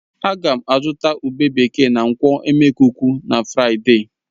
Ága m azụta ube bekee na nkwọ̀ e. Emekuku na Fraịde